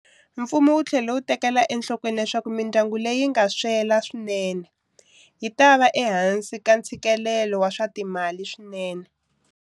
Mfumo wu tlhele wu tekela enhlokweni leswaku mindyangu leyi nga swela swinene yi ta va ehansi ka ntshikilelo wa swa timali swinene.